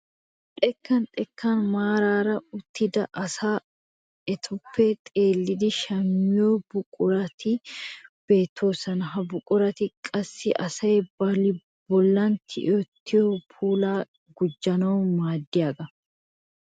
Xekkan xekkan maarara uttida asay etappe xeellidi shammiyoo buqurati beettoosona. ha buqurati qassi asay ba bollan tiyettidi puulaa gujjanawu maaddiyaageta.